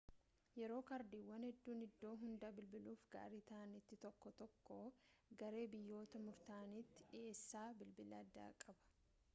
yeroo kaardiiwwan hedduun iddoo hunda bilbiluuf gaarii ta'anitti tokko tokko garee biyyoota murtaa'aniitiif dhiheessa bilbila addaa qaba